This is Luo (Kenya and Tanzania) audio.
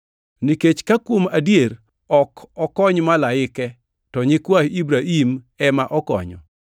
Nikech ka kuom adier, ok okony malaike, to nyikwa Ibrahim ema okonyo.